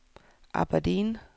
Aberdeen